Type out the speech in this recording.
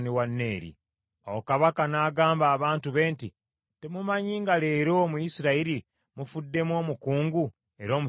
Awo kabaka n’agamba abantu be nti, “Temumanyi nga leero mu Isirayiri mufuddemu omukungu era omusajja omuzira?